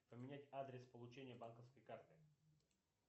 поменять адрес получения банковской карты